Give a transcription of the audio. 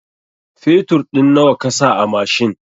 Fetur ɗin nawa kasa a mashin?